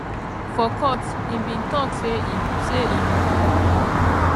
for court e bin tok say im say im